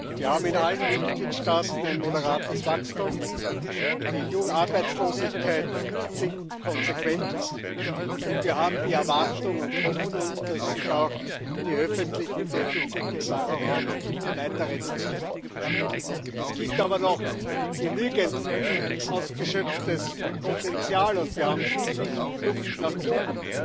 Wir haben in allen Mitgliedstaaten ein moderates Wachstum, die Arbeitslosigkeit sinkt konsequent, und wir haben die Erwartung und Hoffnung, dass sich auch die öffentlichen Defizite im Euro Raum weiter reduzieren. Es gibt aber noch genügend unausgeschöpftes Potenzial, und wir haben viel Luft nach oben,